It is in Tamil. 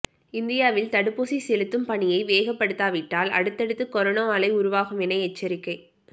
இந்தியாவில் தடுப்பூசி செலுத்தும் பணியை வேகப்படுத்தாவிட்டால் அடுத்தடுத்து கொரோனா அலை உருவாகும் என எச்சரிக்கை